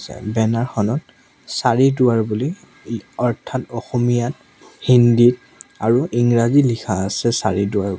banner খনত চাৰি দুৱাৰ বুলি লি অৰ্থাৎ অসমীয়াত হিন্দীত আৰু ইংৰাজীত লিখা আছে চাৰি দুৱাৰ--